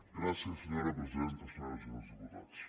gràcies senyora presidenta senyores i senyors diputats